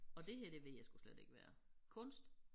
Og det her det ved jeg sgu slet ikke hvad er kunst?